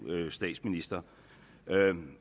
statsminister